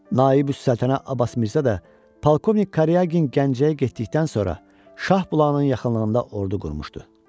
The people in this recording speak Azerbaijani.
Naibüs Səltənə Abbas Mirzə də Polkovnik Karyagin Gəncəyə getdikdən sonra Şahbulağın yaxınlığında ordu qurmuşdu.